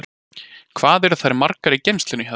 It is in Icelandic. Hvað eru þær margar í geymslunum hjá þér?